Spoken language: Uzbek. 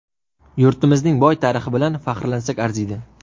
Yurtimizning boy tarixi bilan faxrlansak arziydi.